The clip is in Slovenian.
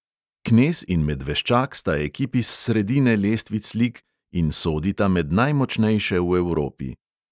Knez in medveščak sta ekipi s sredine lestvic lig in sodita med najmočnejše v evropi.